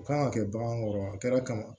U kan ka kɛ bagan kɔrɔ wa a kɛra kaban